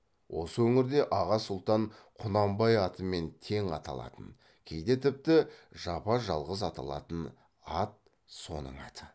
осы өңірде аға сұлтан құнанбай атымен тең аталатын кейде тіпті жапа жалғыз аталатын ат соның аты